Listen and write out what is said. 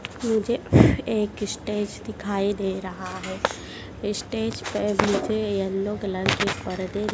मुझे एक स्टेज दिखाई दे रहा है। स्टेज पर मुझे येलो कलर के--